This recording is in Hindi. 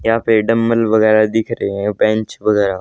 यहां पे डम्बल वगैरा दिख रहे हैं बेन्च वगैरा--